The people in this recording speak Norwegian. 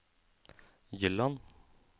Gyland